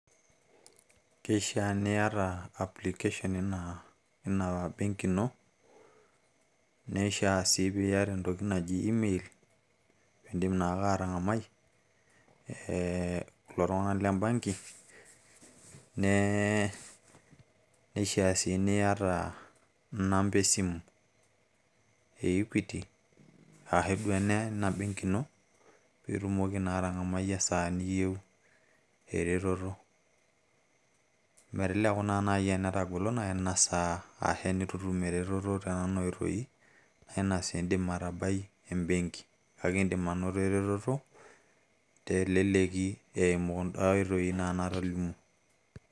keishaa niyata application eina benki ino ,neishaa sii pee iyata entoki naji email ,pee iidim naake atangamai kulo tung'anak lena benki, neishaa sii niyata inamba esimu.e equity ashe eina benki ino. pee itumoki atang'amai esaa niyieu eretoto. meteleku naa naaji netegolo ,netu itum eretoto naa idim atabai e benki, teneitu iidim too naduoo oitoi natolimuo.